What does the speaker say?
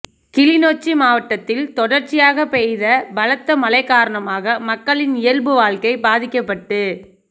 கிளிநொச்சி மாவட்டத்தில் தொடர்ச்சியாக பெய்த பலத்த மழை காரணமாக மக்களின் இயல்பு வாழ்க்கை பாதிக்கப்பட்டு